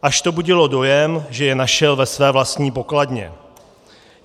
Až to budilo dojem, že je našel ve své vlastní pokladně.